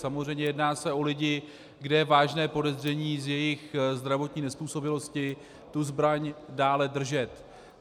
Samozřejmě jedná se o lidi, kde je vážné podezření z jejich zdravotní nezpůsobilosti tu zbraň dále držet.